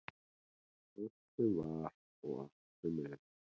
Allt sem var og allt sem er.